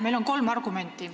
Meil on kolm argumenti.